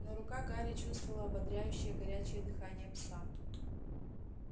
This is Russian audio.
но рука гарри чувствовала ободряющее горячее дыхание пса